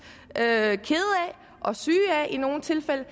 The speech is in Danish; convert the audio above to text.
kede af og syge af i nogle tilfælde